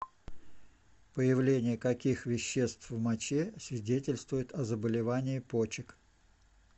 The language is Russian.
появление каких веществ в моче свидетельствует о заболевании почек